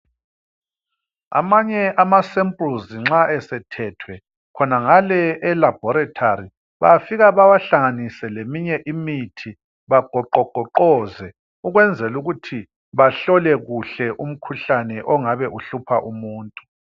Amanye amasempluzi nxa esethethwe khonangale elabhorithori, bafike bawahlanganise leminye imithi, bagoqogoqoze, ukwenzelukuthi bahlole kahle umkhuhlane ongabe kuhlupha umuntu.